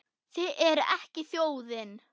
Þið eruð ekki þjóðin!